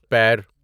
پیر